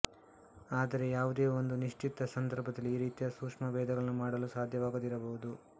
ಆದರೆ ಯಾವುದೇ ಒಂದು ನಿಶ್ಚಿತ ಸಂದರ್ಭದಲ್ಲಿ ಈ ರೀತಿಯ ಸೂಕ್ಷ್ಮಭೇದಗಳನ್ನು ಮಾಡಲು ಸಾಧ್ಯವಾಗದಿರಬಹುದು